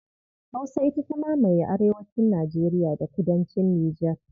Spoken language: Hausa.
Hausa ita ta mamaye arewacin Nijeriya da kudancin Nijar.